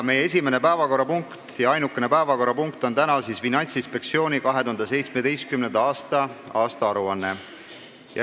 Meie esimene ja ainukene päevakorrapunkt on täna Finantsinspektsiooni 2017. aasta aastaaruanne.